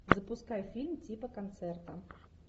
запускай фильм типа концерта